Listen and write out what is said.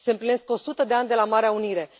Se împlinesc o sută de ani de la Marea Unire.